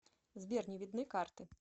сбер не видны карты